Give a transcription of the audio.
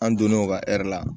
An donn'o ka hɛri la